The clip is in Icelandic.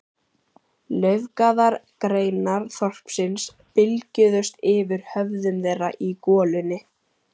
Laufgaðar greinar þorpsins bylgjuðust yfir höfðum þeirra í golunni.